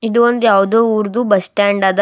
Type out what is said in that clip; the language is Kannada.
ಇದು ಒಂದು ಯಾವುದೋ ಉರ್ದು ಬಸ್ ಸ್ಟ್ಯಾಂಡ್ ಅದ.